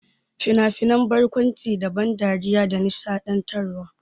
Fina-finan barkwanci na da ban dariya da nishaɗantarwa.